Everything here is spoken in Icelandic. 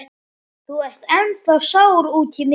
Þú ert ennþá sár út í mig.